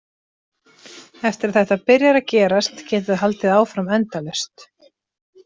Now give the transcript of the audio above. Eftir að þetta byrjar að gerast, getur það haldið áfram endalaust.